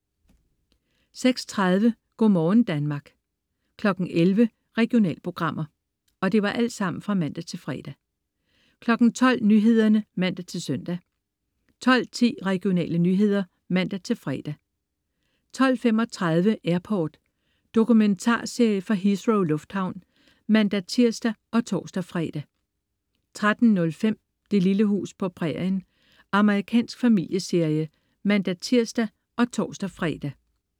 06.30 Go' morgen Danmark (man-fre) 11.00 Regionalprogrammer (man-fre) 12.00 Nyhederne (man-søn) 12.10 Regionale nyheder (man-fre) 12.35 Airport. Dokumentarserie fra Heathrow lufthavn (man-tirs og tors-fre) 13.05 Det lille hus på prærien. Amerikansk familieserie (man-tirs og tors-fre)